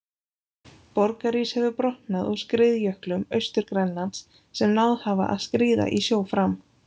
Borgarís hefur brotnað úr skriðjöklum Austur-Grænlands sem náð hafa að skríða í sjó fram.